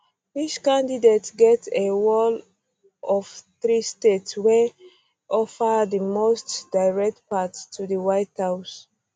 each candidate get a wall of three states wey um offer di um most direct path to di white house